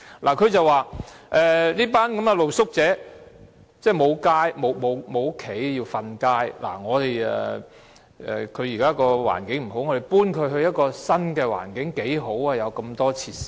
他說這群露宿者沒有家，要露宿街頭，住宿環境不好，將他們遷到新環境很好，可以享用很多設施。